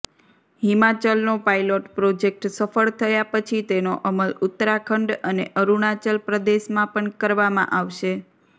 હિમાચલનો pilot project સફળ થયા પછી તેનો અમલ ઉત્તરાખંડ અને અરૂણાચલ પ્રદેશમાં પણ કરવામાં આવશે